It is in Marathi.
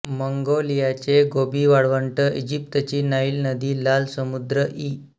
मंगोलियाचे गोबी वाळवंट इजिप्तची नाईल नदी लाल समुद्र इ